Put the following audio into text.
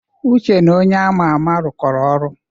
Uche na onye ama ama rụkoro ọrụ.